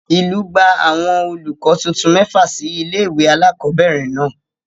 Ìlú gbà àwọn olùkọ́ titun mẹ́fà sí ilé ìwé alákọ̀ọ́bẹ̀rẹ̀ náà.